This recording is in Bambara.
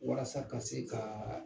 Walasa ka se kaa